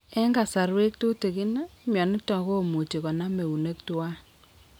En kasarwek tutigin, myonitok komuch konam eunek twan